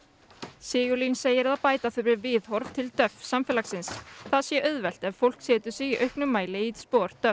Sigurlín segir að bæta þurfi viðhorf til samfélagsins það sé auðvelt ef fólk setur sig í auknum mæli í spor